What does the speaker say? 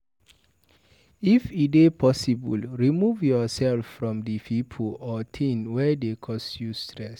If e dey possible, remove yourself from di pipo or thing wey dey cause you stress